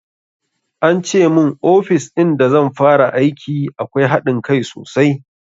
Ance mun ofis in da zan fara aiki akwai haɗin kai sosai